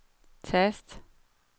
tast